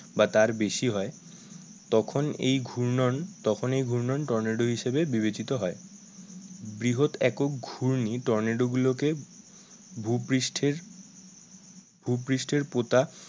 বা তার বেশি হয় তখন এই ঘূর্ণয়ন তখন এই ঘূর্ণয়ন টর্নেডো হিসাবে বিবেচিত হয় বৃহৎ একক ঘূর্ণি টর্নেডো গুলোকে ভুপৃষ্ঠের ভুপৃষ্ঠের পতা